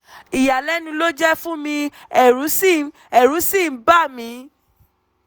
ìyàlẹ́nu ló jẹ́ fún mi ẹ̀rù sì ń ẹ̀rù sì ń bà mí